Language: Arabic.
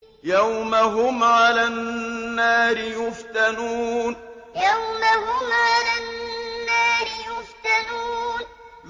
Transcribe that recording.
يَوْمَ هُمْ عَلَى النَّارِ يُفْتَنُونَ يَوْمَ هُمْ عَلَى النَّارِ يُفْتَنُونَ